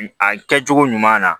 A kɛcogo ɲuman na